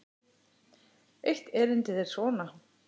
Eitt erindið er svona